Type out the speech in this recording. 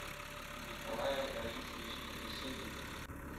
николае раисовиче беседине